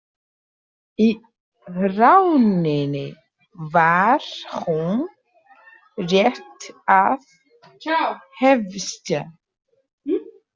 Í rauninni var hún rétt að hefjast.